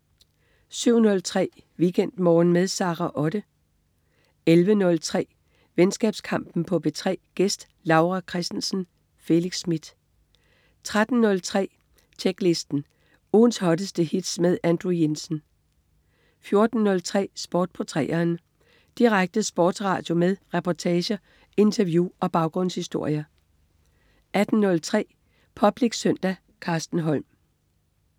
07.03 WeekendMorgen med Sara Otte 11.03 Venskabskampen på P3. Gæst: Laura Christensen. Felix Smith 13.03 Tjeklisten. Ugens hotteste hits med Andrew Jensen 14.03 Sport på 3'eren. Direkte sportsradio med reportager, interview og baggrundshistorier 18.03 Public Søndag. Carsten Holm